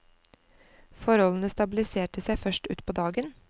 Forholdene stabiliserte seg først ut på dagen.